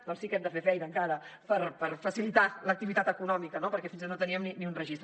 doncs sí que hem de fer feina encara per facilitar l’activitat econòmica no perquè fins ara no teníem ni un registre